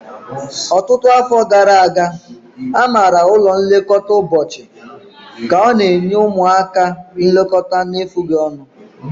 Ọtụtụ afọ gara aga, a maara ụlọ nlekọta ụbọchị ka ọ na-enye ụmụaka nlekọta na-efughi ọnụ.